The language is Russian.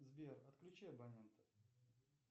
сбер отключи абонента